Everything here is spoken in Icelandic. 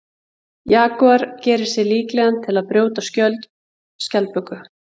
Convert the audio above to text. Jagúar gerir sig líklegan til að brjóta skjöld skjaldböku.